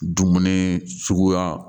Dumuni suguya